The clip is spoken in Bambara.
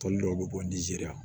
Tɔn dɔw bɛ bɔ ni zere